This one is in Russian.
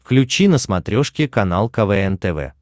включи на смотрешке канал квн тв